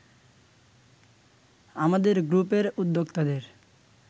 আমাদের গ্রুপের উদ্যোক্তাদের